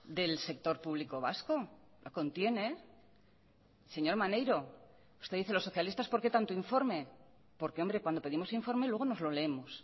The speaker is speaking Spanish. del sector público vasco la contiene señor maneiro usted dice los socialistas por qué tanto informe porque hombre cuando pedimos informe luego nos lo leemos